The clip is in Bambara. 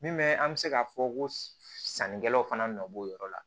Min bɛ an bɛ se k'a fɔ ko sannikɛlaw fana nɔ b'o yɔrɔ la